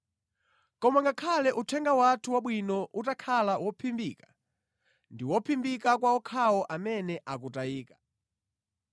Koma ngakhale uthenga wathu wabwino utakhala wophimbika, ndi wophimbika kwa okhawo amene akutayika.